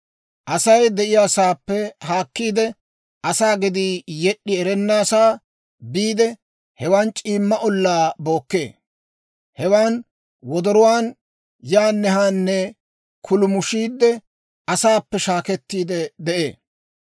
Asay de'iyaasaappe haakkiide, asaa gedii yed'd'i erennasaa biide, hewan c'iimma ollaa bookkee; hewan wodoruwaan yaanne haanne kuulumushiidde, asaappe shaakkettiide de'ee.